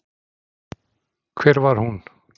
Hver var hún?